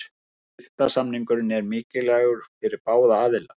Styrktarsamningurinn er mikilvægur fyrir báða aðila.